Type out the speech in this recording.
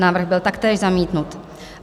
Návrh byl taktéž zamítnut.